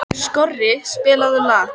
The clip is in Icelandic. Nathan, mun rigna í dag?